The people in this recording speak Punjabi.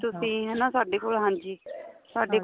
ਤੁਸੀਂ ਹਨਾ ਸਾਡੇ ਕੋਲ ਹਾਂਜੀ ਸਾਡੇ ਕੋਲ